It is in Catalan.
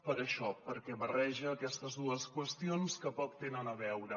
per això perquè barreja aquestes dues qüestions que poc tenen a veure